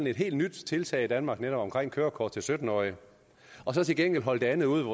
et helt nyt tiltag i danmark netop omkring kørekort til sytten årige og så til gengæld holde det andet ude